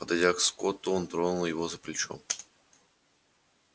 подойдя к скотту он тронул его за плечо